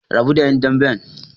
Rabu da ƴan damben!